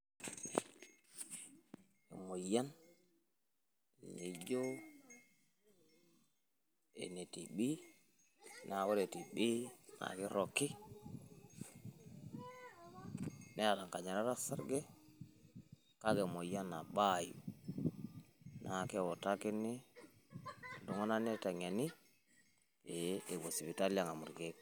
Emoyian nijo ene TB,na ore TB na kirrogi, neeta nkanyarat osarge, kake emoyian nabaayu. Na keutakini iltung'anak niteng'eni, eh epuo sipitali ang'amu irkeek.